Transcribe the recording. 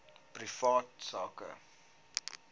privaat sak